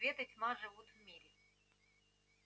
свет и тьма живут в мире